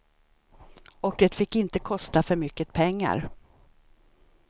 Och det fick inte kosta för mycket pengar.